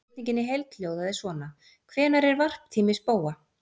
Spurningin í heild hljóðaði svona: Hvenær er varptími spóa?